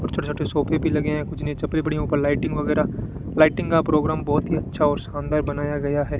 और छोटे छोटे सोफे भी लगे हैं कुछ नीचे चप्पलें पड़ी है ऊपर लाइटिंग वगैरा लाइटिंग का प्रोग्राम बहोत ही अच्छा और शानदार बनाया गया है।